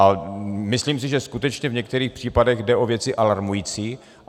A myslím si, že skutečně v některých případech jde o věci alarmující.